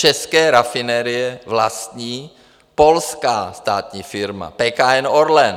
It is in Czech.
České rafinerie vlastní polská státní firma PKN Orlen.